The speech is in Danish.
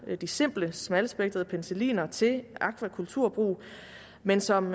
de simple smalspektrede penicilliner til akvakulturbrug men som